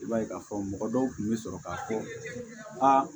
I b'a ye k'a fɔ mɔgɔ dɔw tun bɛ sɔrɔ k'a fɔ aa